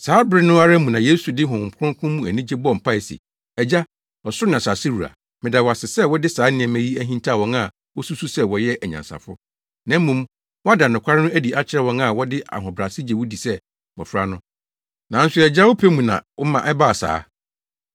Saa bere no ara mu na Yesu de Honhom Kronkron mu anigye bɔɔ mpae se, “Agya, ɔsoro ne asase wura, meda wo ase sɛ wode saa nneɛma yi ahintaw wɔn a wosusuw sɛ wɔyɛ anyansafo, na mmom woada nokware no adi akyerɛ wɔn a wɔde ahobrɛase gye wo di sɛ mmofra no. Nanso Agya, wo pɛ mu na woma ɛbaa saa.